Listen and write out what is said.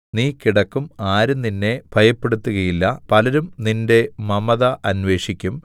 നീ കിടക്കും ആരും നിന്നെ ഭയപ്പെടുത്തുകയില്ല പലരും നിന്റെ മമത അന്വേഷിക്കും